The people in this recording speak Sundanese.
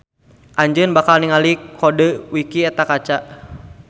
Anjeun bakal ningali kodeu wiki eta kaca.